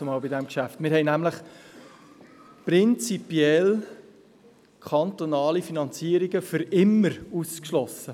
Wir haben nämlich prinzipiell kantonale Finanzierungen für immer ausgeschlossen.